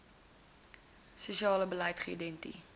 siale beleid geïdenti